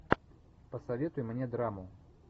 посоветуй мне драму